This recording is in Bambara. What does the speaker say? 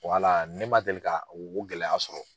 Wala ne man deli ka o gɛlɛya sɔrɔ.